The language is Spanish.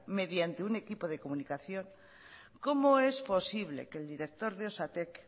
mediante un equipo de comunicación cómo es posible que el directo de osatek